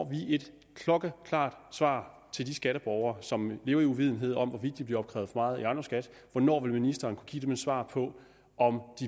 vi et klokkeklart svar til de skatteborgere som lever i uvidenhed om hvorvidt de bliver opkrævet ejendomsskat hvornår vil ministeren kunne give dem et svar på om